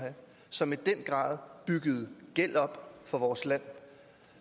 som i den grad byggede gæld op for vores land og